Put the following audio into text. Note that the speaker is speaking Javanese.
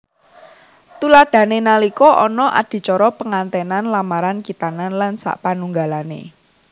Tuladhané nalika ana adicara pengantènan lamaran khitanan lan sapanunggalané